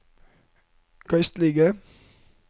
geistlige